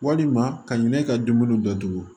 Walima ka ɲinɛ ka dumuni datugu